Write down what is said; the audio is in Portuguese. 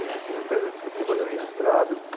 Isso, na segunda empresa que você trabalhou registrado.